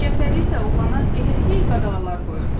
Cəfəri isə oğlana elə hey qadağalar qoyurdu.